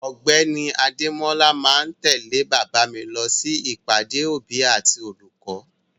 Ọ̀gbẹ́ni Adémọ́la ma tẹ̀lé bàbá mi lọ sí ìpàdé òbí àti olùkọ́.